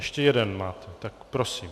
Ještě jeden máte, tak prosím.